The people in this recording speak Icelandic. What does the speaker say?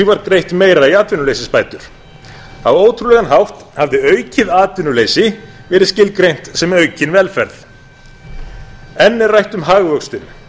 greitt meira í atvinnuleysisbætur á ótrúlegan hátt hafði aukið atvinnuleysi verið skilgreint sem aukin velferð enn er rætt um hagvöxtinn